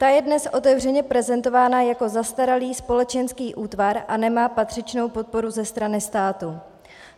Ta je dnes otevřeně prezentována jako zastaralý společenský útvar a nemá patřičnou podporu ze strany státu.